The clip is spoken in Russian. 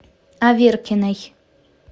аверкиной